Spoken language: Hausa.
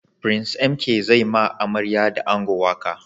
Prince MK zai ma amarya da ango waƙa